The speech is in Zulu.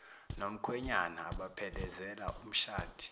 nomkhwenyana abaphelezela umshadi